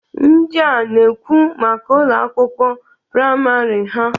Ndịa na-ekwu maka Ụlọ akwụkwọ praịmarị ha.